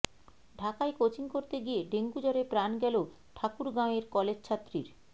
ঢাকায় কোচিং করতে গিয়ে ডেঙ্গুজ্বরে প্রাণ গেল ঠাকুরগাঁওয়ের কলেজছাত্রীর